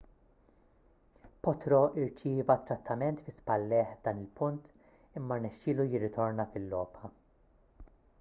potro rċieva trattament fi spallejh f'dan il-punt imma rnexxielu jirritorna fil-logħba